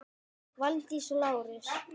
Valdís og Lárus.